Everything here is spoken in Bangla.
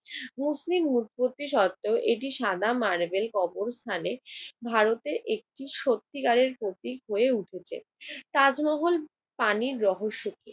মুসলিম উৎপত্তিসত্ত্বেও এটি সাদা মার্বেল কবরস্থানে ভারতে একটি সত্যিকারের প্রতীক হয়ে উঠেছে। তাজমহল পানির রহস্য কি?